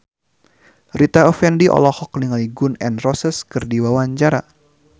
Rita Effendy olohok ningali Gun N Roses keur diwawancara